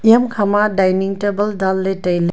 eya hamkha ma dining table dan ley tai ley.